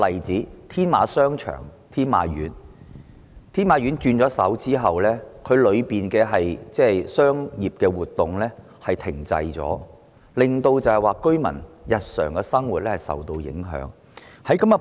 在天馬商場易手後，裏面的商業活動停滯，令居民日常生活受到影響。